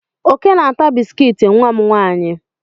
Oke na-ata biskit nwa m nwaanyị.